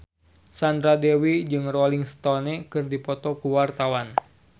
Sandra Dewi jeung Rolling Stone keur dipoto ku wartawan